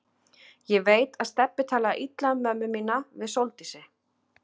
Ég veit að Stebbi talaði illa um mömmu mína við Sóldísi.